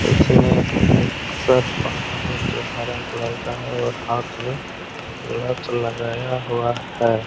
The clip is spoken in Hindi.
उसने एक शर्ट पहना है जो हरा कलर का है और हाथ मे गलप्स लगाया हुआ हैं।